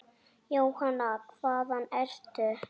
Jóhanna: Hvaðan ertu?